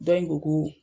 Dɔ in ko ko